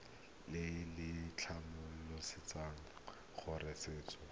le le tlhomamisang gore setheo